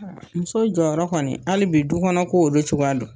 muso jɔ yɔrɔ kɔni, halibi du kɔnɔ ko o bɛ cogoyadi.